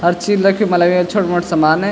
हर चीज रखीं मलब यख छोटु मोटु सामान।